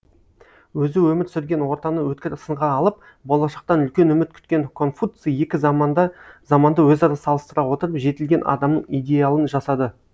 өзі өмір сүрген ортаны өткір сынға алып болашақтан үлкен үміт күткен конфуций екі заманды өзара салыстыра отырып жетілген адамның идеалын жасады